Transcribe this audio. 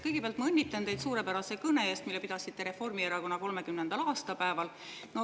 Kõigepealt ma õnnitlen teid suurepärase kõne eest, mille te pidasite Reformierakonna 30. aastapäeval.